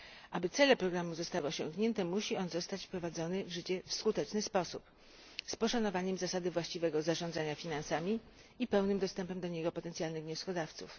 Aby cele programu zostały osiągnięte, musi on zostać wprowadzony w życie w skuteczny sposób z poszanowaniem zasady właściwego zarządzania finansami i pełnym dostępem do niego potencjalnych wnioskodawców.